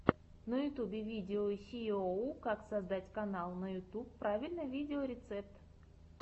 ютюб видео сииоу как создать канал на ютьюб правильно видеорецепт